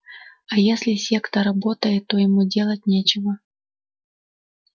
а если секта работает то ему делать нечего